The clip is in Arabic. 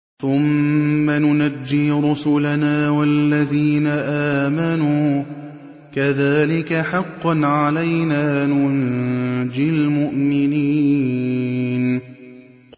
ثُمَّ نُنَجِّي رُسُلَنَا وَالَّذِينَ آمَنُوا ۚ كَذَٰلِكَ حَقًّا عَلَيْنَا نُنجِ الْمُؤْمِنِينَ